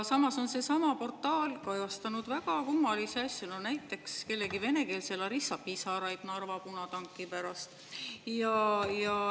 Samas on seesama portaal kajastanud väga kummalisi asju, näiteks kellegi venekeelse Larissa pisaraid Narva punatanki pärast.